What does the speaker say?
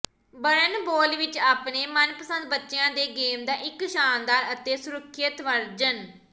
ਬਰਨਬੋਲ ਵਿੱਚ ਆਪਣੇ ਮਨਪਸੰਦ ਬੱਚਿਆਂ ਦੇ ਗੇਮ ਦਾ ਇੱਕ ਸ਼ਾਨਦਾਰ ਅਤੇ ਸੁਰੱਖਿਅਤ ਵਰਜਨ